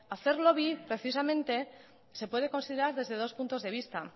hacer lobby precisamente se puede considerar desde dos puntos de vista